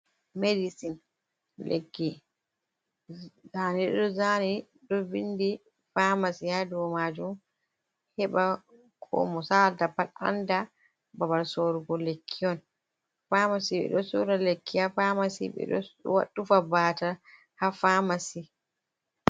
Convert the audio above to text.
Medisin, lekki ndaa ɗo ɓe zaani. Ɗo vindi faamasi haa do maajum, heɓa ko mo saalata pat anda nda baba sorgo lekki on. Faamasi, ɓe ɗo sora lekki haa faamasi, ɓe ɗo tufa baatal haa faamasi.